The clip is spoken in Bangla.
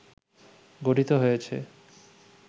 গঠিত হয়েছে